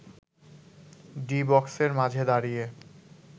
D বক্সের মাঝে দাঁড়িয়ে